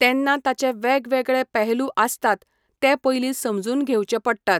तेन्ना ताचे वेगवेगळे पहलू आसतात ते पयलीं समजून घेवचे पडटात.